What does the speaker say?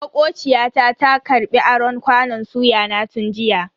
Makociya ta ta karbi aron kwanon suya na tun jiya.